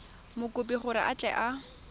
mokopi gore a tle a